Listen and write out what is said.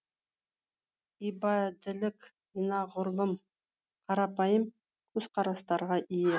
ибадилік анағұрлым қарапайым көзқарастарға ие